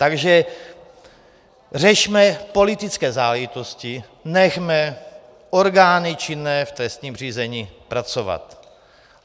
Takže řešme politické záležitosti, nechme orgány činné v trestním řízení pracovat.